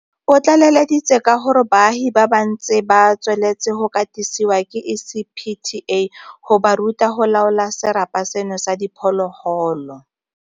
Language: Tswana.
O tlaleleditse ka gore baagi ba ntse ba tsweletse go katisiwa ke ECPTA go ba ruta go laola serapa seno sa diphologolo.